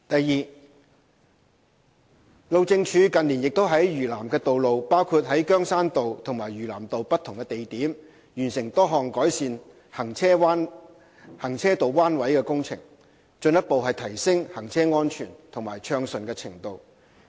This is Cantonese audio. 二路政署近年亦在嶼南的道路，包括在羗山道及嶼南道的不同地點，完成多項改善行車道彎位的工程，進一步提升行車安全及暢順程度。